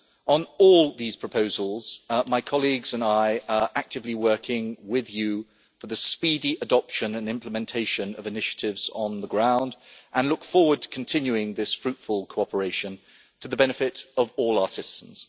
On all these proposals my colleagues and I are actively working with you for the speedy adoption and implementation of initiatives on the ground, and look forward to continuing this fruitful cooperation, to the benefit of all our citizens.